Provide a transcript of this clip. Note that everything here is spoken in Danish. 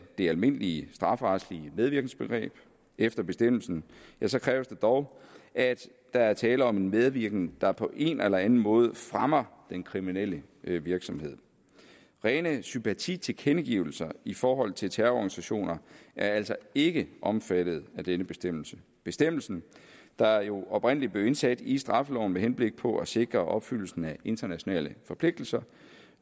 det almindelige strafferetslige medvirkensbegreb efter bestemmelsen kræves det dog at der er tale om en medvirken der på en eller anden måde fremmer den kriminelle virksomhed rene sympatitilkendegivelser i forhold til terrororganisationer er altså ikke omfattet af denne bestemmelse bestemmelsen der jo oprindelig blev indsat i straffeloven med henblik på at sikre opfyldelsen af internationale forpligtelser